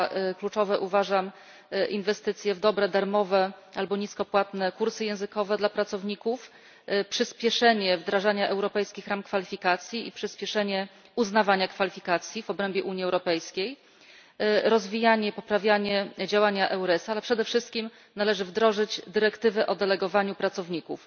Za kluczowe uważam inwestycje w dobre, darmowe albo nisko płatne kursy językowe dla pracowników, przyspieszenie wdrażania europejskich ram kwalifikacji i przyspieszenie uznawania kwalifikacji w obrębie Unii Europejskiej, rozwijanie i poprawianie działania EURES a, ale przede wszystkim należy wdrożyć dyrektywę o delegowaniu pracowników.